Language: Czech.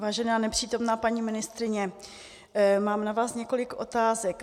Vážená nepřítomná paní ministryně, mám na vás několik otázek.